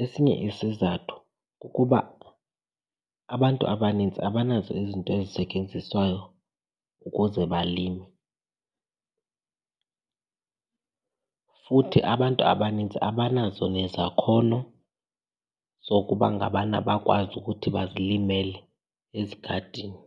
Esinye isizathu kukuba abantu abanintsi abanazo izinto ezisetyenziswayo ukuze balime futhi abantu abanintsi abanazo nezakhono zokuba ngabana bakwazi ukuthi bazilimele ezigadini.